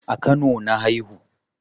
A kano na haihu